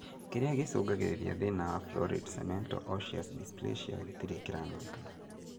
Kĩrĩa gĩcũngagĩrĩria thĩna wa florid cemento osseous dysplasia gĩtirĩ kĩramenyekana